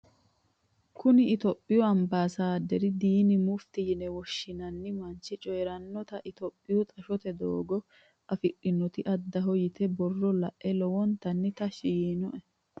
Kunni itophiyu ambaasaaderi diinna mufti yinne woshinnanni manchi coyirinota itophu xashote doogo afidhanoti addaho yitano borro lae lowontanni tashi yiinoe.